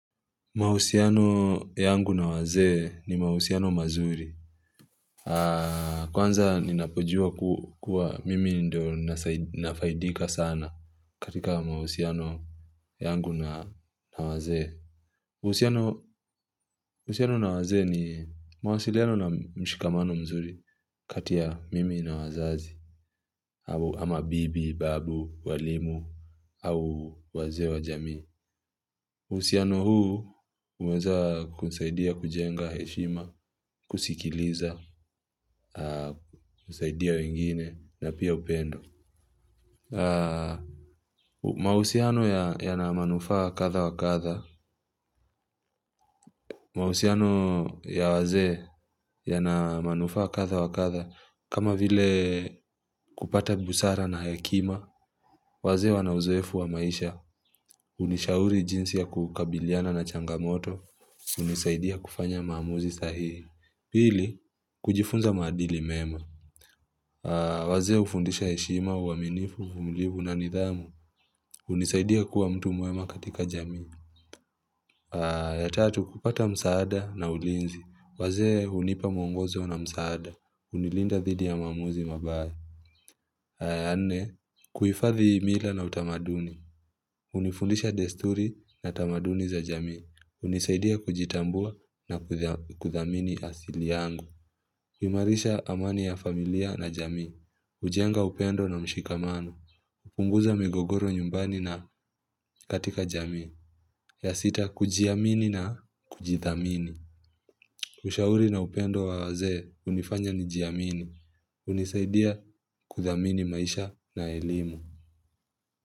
Mahusiano yangu na wazee ni mahusiano mazuri. Kwanza ninapojua kuwa mimi ndio nafaidika sana katika mahusiano yangu na wazee. Mahusiano na wazee ni mawasiliano na mshikamano mzuri kati ya mimi na wazazi. Ama bibi, babu, walimu, au wazee wa jamii. Uhusiano huu umezanikusaidia kujenga heshima, kusikiliza, kusaidia wengine na pia upendo. Mahusiano yana manufaa kadha wakadha, mahusiano ya wazee ya na manufaa kadha wakadha, kama vile kupata busara na hekima, wazee wanauzoefu wa maisha, hunishauri jinsi ya kukabiliana na changamoto, hunisaidia kufanya maamuzi sahii. Pili, kujifunza maadili mema. Wazee hufundisha heshima, uaminifu, uvumilivu na nidhamu. Hunisaidia kuwa mtu mwema katika jamii. Yatatu, kupata msaada na ulinzi. Wazee hunipa mwongozo na msaada. Hunilinda dhidi ya maamuzi mabaya. Ya nne, kuhifadhi mila na utamaduni. Hnifundisha desturi na tamaduni za jamii. Hunisaidia kujitambua na kuthamini asili yangu. Uimarisha amani ya familia na jamii, hujenga upendo na mshikamano, hupunguza migogoro nyumbani na katika jamii, ya sita kujiamini na kujithamini. Ushauri na upendo wa wazee hunifanya nijiamini, hunisaidia kuthamini maisha na elimu.